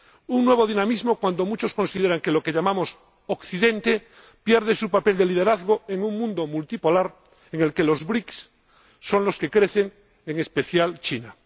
Un nuevo dinamismo cuando muchos consideran que lo que llamamos Occidente pierde su papel de liderazgo en un mundo multipolar en el que los BRICS son los que crecen, en especial China.